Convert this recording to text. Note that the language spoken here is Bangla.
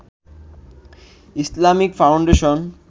Islamic foundation